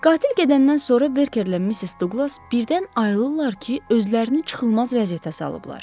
Qatil gedəndən sonra Berkerlə Missis Duqlas birdən ayılırlar ki, özlərini çıxılmaz vəziyyətə salıblar.